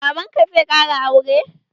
Baban ka zai ƙara sure?